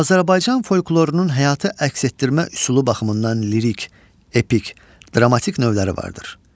Azərbaycan folklorunun həyatı əks etdirmə üslubu baxımından lirik, epik, dramatik növləri vardır.